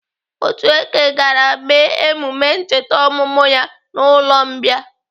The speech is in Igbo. Otueke gara mee emume ncheta ọmụmụ ya n'ụlọ mbìa..